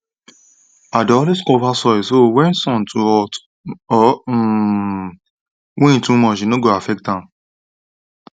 i dey always cover soil so when sun too hot or um wind too much e no go affect am